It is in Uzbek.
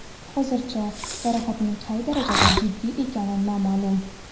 Hozircha jarohatning qay darajada jiddiy ekani noma’lum.